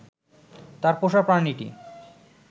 তার পোষা প্রাণীটি